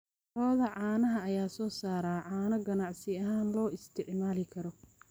Lo'da caanaha ayaa soo saara caano ganacsi ahaan loo isticmaali karo.